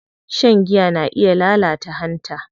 Shan giya na iya lalata hanta.